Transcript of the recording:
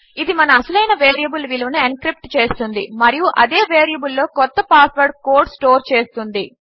ఇది మన అసలైన వేరియబుల్ విలువను ఎన్క్రిప్ట్ చేస్తుంది మరియు అదే వేరియబుల్లో కొత్త పాస్వర్డ్ కోడ్ స్టోర్ చేస్తుంది